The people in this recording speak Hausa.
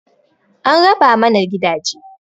An raba mana gidaje